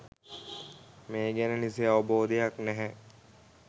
මේ ගැන නිසි අවබෝධයක් නැහැ.